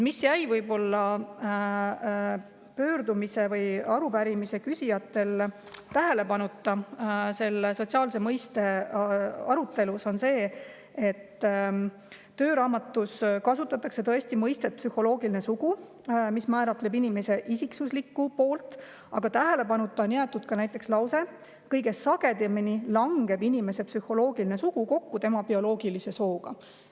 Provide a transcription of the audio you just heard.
Tööraamatus kasutatakse tõesti mõistet "psühholoogiline sugu", mis määratleb inimese isiksuse poolt, aga mis jäi võib-olla arupärimise küsijatel tähelepanuta sotsiaalse soo mõiste arutelus, on lause, et kõige sagedamini langeb inimese psühholoogiline sugu kokku tema bioloogilise sooga.